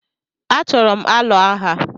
Achoro m alụ agha